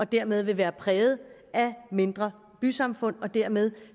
dermed være præget af mindre bysamfund og dermed